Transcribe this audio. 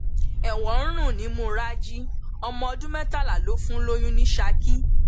ẹwọn ń rùn nímú raji ọmọ ọdún mẹtàlá ló fún lóyún ní saki